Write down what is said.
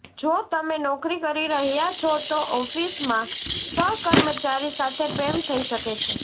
જો તમે નોકરી કરી રહ્યા છો તો ઓફિસમં સહકર્મચારી સાથે પ્રેમ થઈ શકે છે